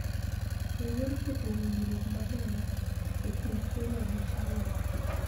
E yor keto winjruok maber e kind Kenya gi China.